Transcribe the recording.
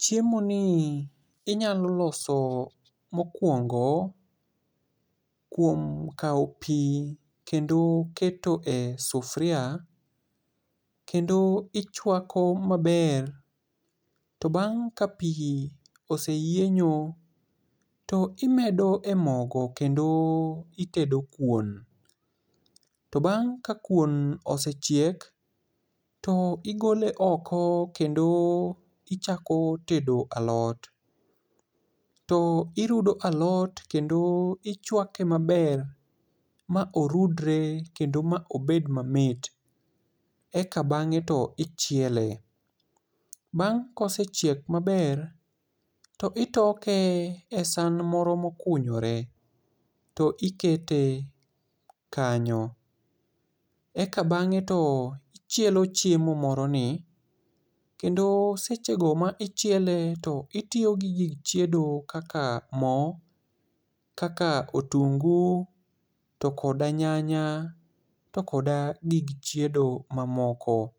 Chiemo ni inyalo loso mokwongo, kuom kawo pi kendo keto e sufria, kendo ichwako maber, to bang' ka pi oseyienyo to imedo e mogo kendo itedo kuon. To bang' ka kuon osechiek to igole oko, kendo ichako tedo alot. To irudo alot kendo ichwake maber ma orudore, kendo ma obed mamit. Eka bang'e to ichiele. Bang' ka osechiek maber, to itoke e san moro ma okunyore to ikete kanyo. Eka bang'e to ichielo chiemo moro ni. Kendo seche go ma ichiele, to itiyo gi gik chiedo kaka mo, kaka otungu, to koda nyanya to koda gig chiedo mamoko.